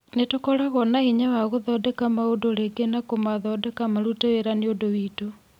Nĩtũkoragwo na hinya wa gũthondeka maũndũ rĩngĩ na kũmathondeka marute wĩra nĩũndũ witũ.